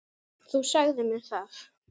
Þú sagðir mér það.